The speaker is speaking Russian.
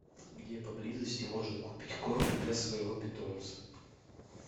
где поблизости можно купить корм для своего питомца